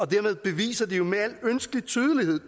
dermed beviser de med al ønskelig tydelighed